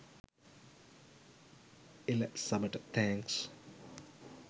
එළ සබට තෑන්ක්ස්.